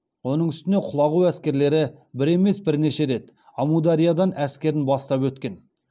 оның үстіне құлағу әскерлері бір емес бірнеше рет әмудариядан әскерін бастап өткен